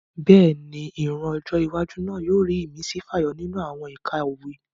Bẹ́ẹ̀ni, ìran ọjọ́ iwájú náà yóò rí ìmísí fàyọ nínú àwọn ẹ̀kọ́ òwe